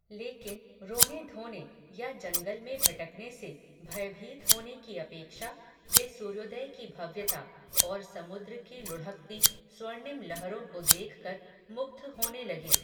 लेकिन, रोनेधोने, या जंगल में भटकने से, भयभीत होने की अपेक्षा, वे सूर्योदय की भव्यता, और समुद्र की लुढ़कती, स्वर्णिम लहरो को देख कर, मुग्ध होने लगे